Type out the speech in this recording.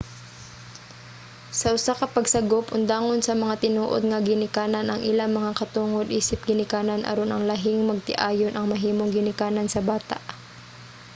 sa usa ka pagsagop undangon sa mga tinuod nga mga ginikanan ang ilang mga katungod isip ginikanan aron ang lahing magtiayon ang mahimong ginikanan sa bata